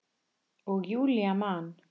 Og Júlía man.